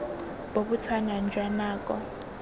bo bo tshwanang jwa nako